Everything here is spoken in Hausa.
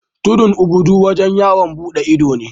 Tudun obudu wajen yawon bude ido ne.